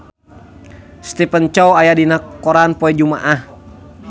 Stephen Chow aya dina koran poe Jumaah